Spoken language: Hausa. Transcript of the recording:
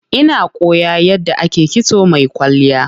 Ina koyan yadda ake kitso mai kwalliya.